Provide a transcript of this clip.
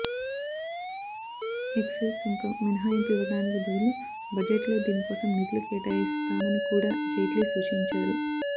excise సుంకం మినహాయింపు ఇవ్వడానికి బదులు బడ్జెట్లో దీనికోసం నిధులు కేటాయిస్తామని కూడాజైట్లీ సూచించారు